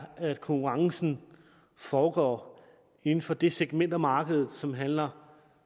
at konkurrencen foregår inden for det segment af markedet som handler